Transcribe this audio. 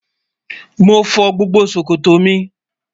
Mo fọ́ gbogbo sọ̀kọ̀tọ́ mi